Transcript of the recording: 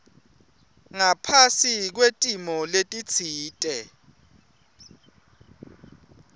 ngaphasi kwetimo letitsite